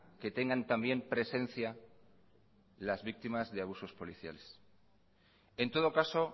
que tengan también presencia las víctimas de abusos policiales en todo caso